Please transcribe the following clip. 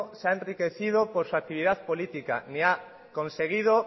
se ha enriquecido por su actividad política ni ha conseguido